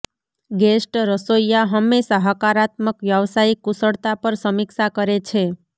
guest રસોઇયા હંમેશા હકારાત્મક વ્યાવસાયિક કુશળતા પર સમીક્ષા કરે છે